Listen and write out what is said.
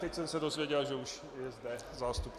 Teď jsem se dozvěděl, že už je zde zástupce...